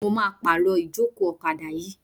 Mo máa pàrọ̀ ìjókòó ọ̀kadà yìí.